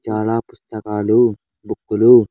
చాలా పుస్తకాలు బుక్కులు .